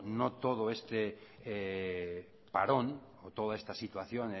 no todo este parón o toda esta situación